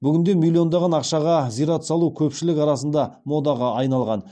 бүгінде миллиондаған ақшаға зират салу көпшілік арасында модаға айналған